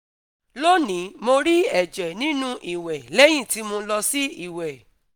loni mo ri ẹjẹ ninu iwẹ lẹhin ti mo lọ si iwẹ